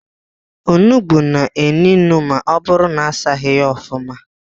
Onugbu na-enu inu ma ọbụrụ na-asaghi ya ofụma.